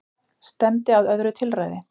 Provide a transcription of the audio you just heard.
Stefndi að öðru tilræði